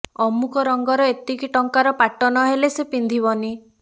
ଅମୁକ ରଙ୍ଗର ଏତିକି ଟଙ୍କାର ପାଟ ନ ହେଲେ ସେ ପିନ୍ଧିବନି